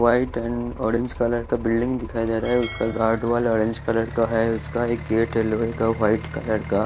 white and orange colour का बिल्डिंग दिखाई दे रहा है उसका गार्ड वाला ऑरेंज कलर का है उसका एक गेट लोहे का वाइट कलर का--